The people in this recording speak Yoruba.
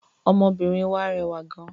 Ọmọbìnrin wà rẹwà gán.